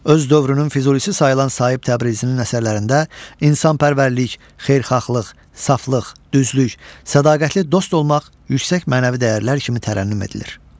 Öz dövrünün Füzulisi sayılan Sahib Təbrizinin əsərlərində insanpərvərlik, xeyirxahlıq, saflıq, düzlük, sədaqətli dost olmaq yüksək mənəvi dəyərlər kimi tərənnüm edilir.